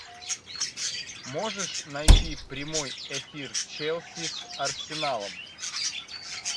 можешь найти прямой эфир челси с арсеналом